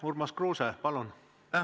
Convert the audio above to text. Urmas Kruuse, palun!